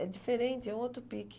É diferente, é um outro pique.